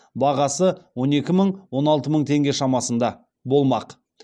бағасы он екі мың он алты мың теңге шамасында болмақ